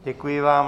Děkuji vám.